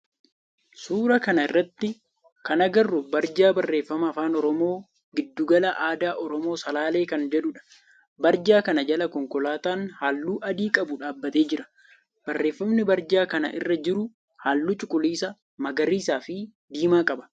suuraa kana irratti kan agarru barjaa barreeffama afaan oromoo giddu gala aadaa oromoo salaalee kan jedhudha. barjaa kana jala konkolaatan halluu adii qabu dhaabbatee jira. Barreeffamni barjaa kana irra jiru halluu cuquliisa, magariisa fi diimaa qaba.